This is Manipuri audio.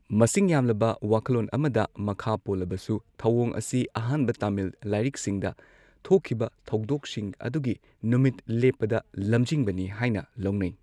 ꯃꯁꯤꯡ ꯌꯥꯝꯂꯕ ꯋꯥꯈꯜꯂꯣꯟ ꯑꯃꯗ ꯃꯈꯥ ꯄꯣꯜꯂꯕꯁꯨ, ꯊꯧꯑꯣꯡ ꯑꯁꯤ ꯑꯍꯥꯟꯕ ꯇꯥꯃꯤꯜ ꯂꯥꯏꯔꯤꯛꯁꯤꯡꯗ ꯊꯣꯛꯈꯤꯕ ꯊꯧꯗꯣꯛꯁꯤꯡ ꯑꯗꯨꯒꯤ ꯅꯨꯃꯤꯠ ꯂꯦꯞꯄꯗ ꯂꯝꯖꯤꯡꯕꯅꯤ ꯍꯥꯏꯅ ꯂꯧꯅꯩ꯫